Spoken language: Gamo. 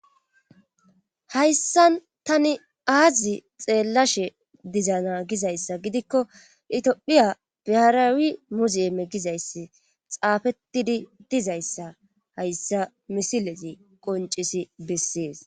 hayssan tani aazi xeellashe dizana gizayssa gidikko itophiya beharawi muzime gizayssi xaafettidi dizayssa hayssa misilezi qoncisi bessees